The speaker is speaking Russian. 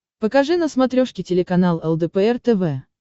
покажи на смотрешке телеканал лдпр тв